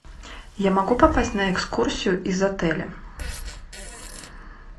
я могу попасть на экскурсию из отеля